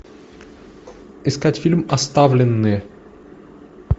искать фильм оставленные